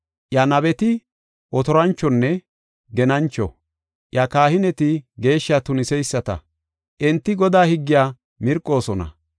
Iya nabeti otoranchonne genancho; iya kahineti geeshshaa tuniseyisata; enti Godaa higgiya mirqoosona.